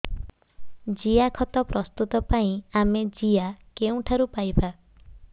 ଜିଆଖତ ପ୍ରସ୍ତୁତ ପାଇଁ ଆମେ ଜିଆ କେଉଁଠାରୁ ପାଈବା